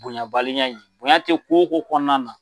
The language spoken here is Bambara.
Bonyanbaliya in bonya te ko o ko kɔnɔna na